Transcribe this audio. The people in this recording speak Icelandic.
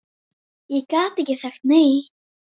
Þú hefur gert þitt gagn.